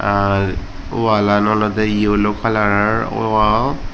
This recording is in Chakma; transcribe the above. ar walan olode yellow kalaror woao.